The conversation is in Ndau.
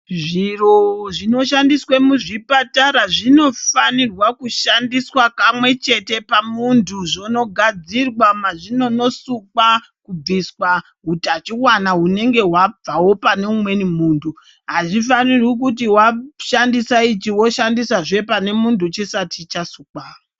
Zviro zvinoshandiswe muzvipatara zvinofanirwa kushandiswa kamwechete pamuntu zvonogadzirwa mazvinono sukwa kubviswa utachiona unenge wabvawo pane umweni muntu azvifaniri kuti washandisa ichi woshandisa zvee pane muntu chisati chasukwa.